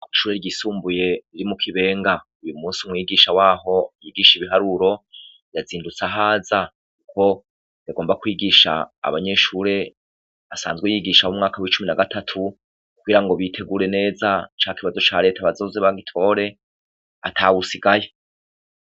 Ishuri ryisumbuye riri mu kibenga. Uyu munsi umwigisha waho yigisha ibiharuro, yazindutse ahaza uko bigomba kwigisha abanyeshure asanzwe yigisha w'umwaka w'icumi na gatatu, kugira ngo bitegure neza ca kibazo cya leta bazose bagitore atawusigaye.